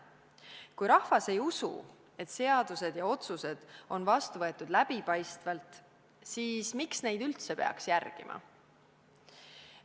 Kui rahvas ei usu, et seadused ja otsused on vastu võetud läbipaistvalt, siis miks neid üldse peaks järgima?